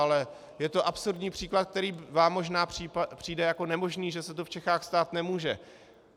Ale je to absurdní příklad, který vám možná přijde jako nemožný, že se to v Čechách stát nemůže.